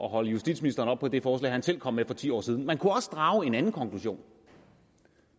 at holde justitsministeren oppe på det forslag han selv kom med for ti år siden man kunne også drage en anden konklusion